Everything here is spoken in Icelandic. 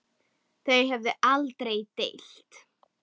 Þau höfðu aldrei deilt.